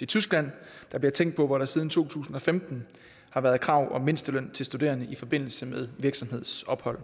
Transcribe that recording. det tyskland der bliver tænkt på hvor der siden to tusind og femten har været krav om mindsteløn til studerende i forbindelse med virksomhedsophold